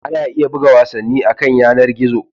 Ana iya buga wasanni akan yanar gizo.